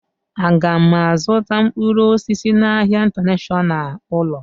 Aga m azụta mkpụrụ osisi n'ahia Intanashọnal Ọọlụ?